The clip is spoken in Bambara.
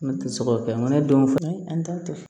Ne tɛ se k'o kɛ mɔnɛ don fɛnɛ an t'a kɛ